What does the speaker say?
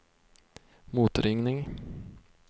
motringning